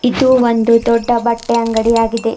ಇದು ಒಂದು ದೊಡ್ಡ ಬಟ್ಟೆ ಅಂಗಡಿ ಆಗಿದೆ.